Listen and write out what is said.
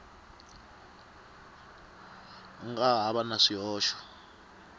nga ha va na swihoxo